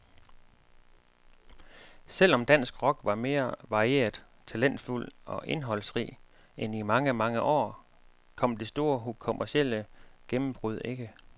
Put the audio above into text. Selv om dansk rock var mere varieret, talentfuld og indholdsrig end i mange, mange år, kom det store kommercielle gennembrud ikke.